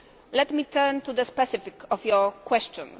Let me turn to the specifics of your question.